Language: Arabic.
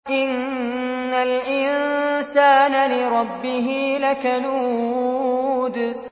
إِنَّ الْإِنسَانَ لِرَبِّهِ لَكَنُودٌ